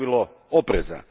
pravilo opreza.